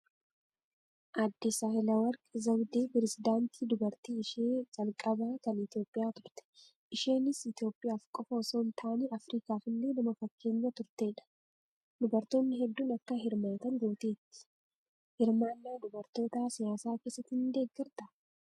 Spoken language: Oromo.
Aaddee Saahilewarq Zawudee pirezedaantii dubartii ishee calqabaa kan Itoophiyaa turte. Isheenis Itoophiyaa qofaaf osoo hin taane afrikaaf illee nama fakkeenya turtedha. Dubartoonni hedduun akka hirmaatan gooteetti. Hirmaannaa dubartootaa siyaasa keessatti ni deeggartaa?